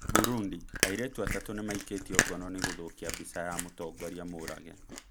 Burundi :Airetu atatũ nĩmaikĩtio ngono nĩ gũthũkia mbica ya mũtongoria Mũrage